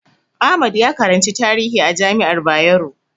Ahmad ya karanci tarihi a jami'ar Bayero Kano.